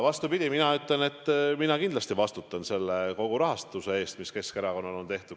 Vastupidi, mina ütlen, et mina kindlasti vastutan kogu rahastuse eest, mis Keskerakonnale on tehtud.